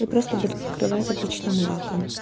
я просто буду покрывать обычным лаком